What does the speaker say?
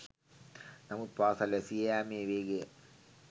නමුත් පාසල් වැසී යාමේ වේගය